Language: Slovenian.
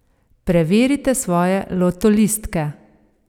Preverite svoje lotolistke!